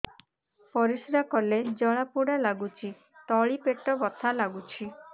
ପରିଶ୍ରା କଲେ ଜଳା ପୋଡା ଲାଗୁଚି ତଳି ପେଟ ବଥା ଲାଗୁଛି